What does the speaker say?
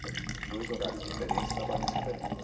São dois horários diferentes, trabalhos diferentes.